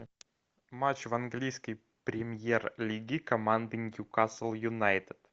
матч в английской премьер лиге команды ньюкасл юнайтед